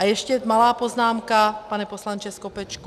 A ještě malá poznámka, pane poslanče Skopečku.